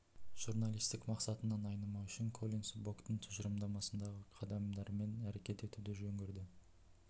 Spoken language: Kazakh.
журналистік мақсатынан айнымау үшін коллинс боктың тұжырымдамасындағы қадамдарымен әрекет етуді жөн көрді